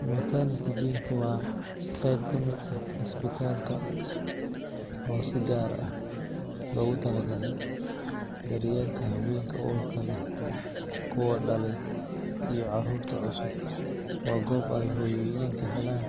Maternity wing waa qeyb ka mid ah isbitaalka oo si gaar ah loogu talagalay daryeelka haweenka uurka leh, kuwa dhalaya, iyo carruurta cusub. Waa goob ay hooyooyinka helaan